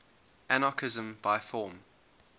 anarchism by form